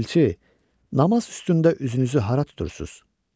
Elçi, namaz üstündə üzünüzü hara tutursuz?